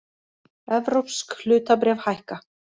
Evrópsk hlutabréf hækka